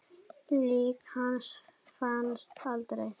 Lík hans fannst aldrei.